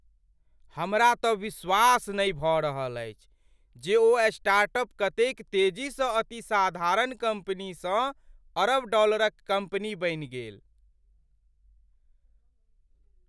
हमरा तँ विश्वास नहि भऽ रहल अछि जे ओ स्टार्टअप कतेक तेजीसँ अति साधारण कम्पनीसँ अरब डॉलरक कम्पनी बनि गेल।